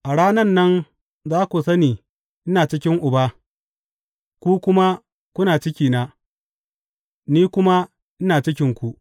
A ranan nan za ku sani ina cikin Uba, ku kuma kuna cikina, ni kuma ina cikinku.